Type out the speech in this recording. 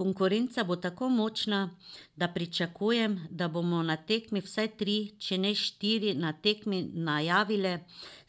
Konkurenca bo tako močna, da pričakujem, da bomo na tekmi vsaj tri, če ne štiri na tekmi najavile